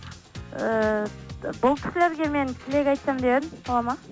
ііі бұл кісілерге мен тілек айтсам деп едім болады ма